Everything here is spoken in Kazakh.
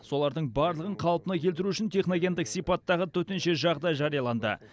солардың барлығын қалпына келтіру үшін техногендік сипаттағы төтенше жағдай жарияланды